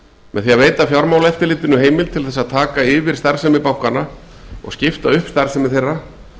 með því að veita fjármálaeftirlitinu heimild til þess að taka yfir starfsemi bankanna og skipta upp starfsemi þeirra